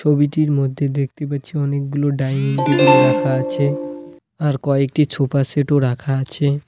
ছবিটির মধ্যে দেখতে পাচ্ছি অনেকগুলো ডাইনিং টেবিল রাখা আছে আর কয়েকটি ছোফাসেটও রাখা আছে।